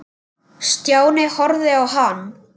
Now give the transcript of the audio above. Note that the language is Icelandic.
Stjáni horfði á hann.